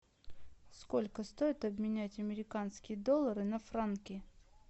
сколько стоит обменять американские доллары на франки